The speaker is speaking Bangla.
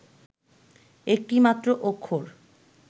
একটি মাত্র অক্ষর